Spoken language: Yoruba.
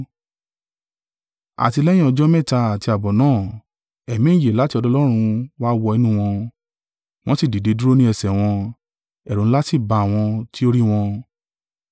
Àti lẹ́yìn ọjọ́ mẹ́ta àti ààbọ̀ náà, ẹ̀mí ìyè láti ọ̀dọ̀ Ọlọ́run wá wọ inú wọn, wọn sì dìde dúró ni ẹsẹ̀ wọn; ẹ̀rù ńlá sì ba àwọn tí o rí wọn.